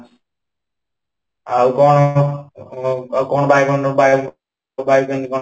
ଆଉ କ'ଣ ହବ ? ଆଉ କ'ଣ ବାୟୁମଣ୍ଡଳ ବାୟୁ କେମିତି କ'ଣ ?